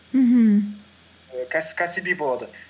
мхм ііі кәсіби болады